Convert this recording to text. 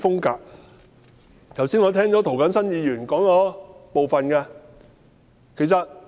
剛才我聽到涂謹申議員提到一部分，我亦有同感。